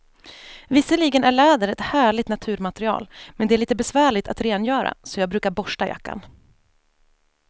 Visserligen är läder ett härligt naturmaterial, men det är lite besvärligt att rengöra, så jag brukar borsta jackan.